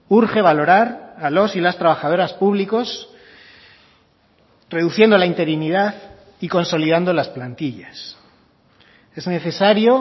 urge valorar a los y las trabajadoras públicos reduciendo la interinidad y consolidando las plantillas es necesario